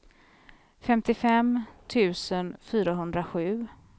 femtiofem tusen fyrahundrasju